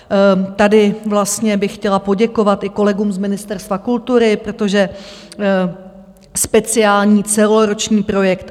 Tady vlastně bych chtěla poděkovat i kolegům z Ministerstva kultury, protože speciální celoroční projekt